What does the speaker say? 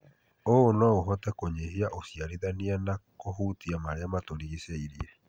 ũũ no ũhote kũnyihia ũciarithania na kũhutia marĩa matũrigicĩirie.